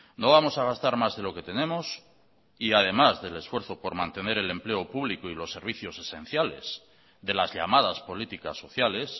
no vamos a gastar más de lo que tenemos y además del esfuerzo por mantener el empleo público y los servicios esenciales de las llamadas políticas sociales